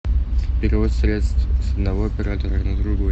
перевод средств с одного оператора на другой